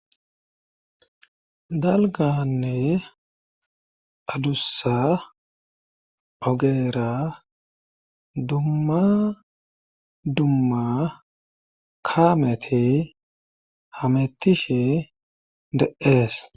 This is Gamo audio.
Dalganne adussa ogeera dumma dumma kaamete hamettishe de7ees.